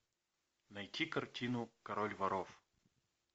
найти картину король воров